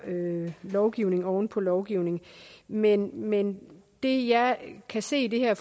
lovgivning oven på lovgivning men men det jeg kan se i det her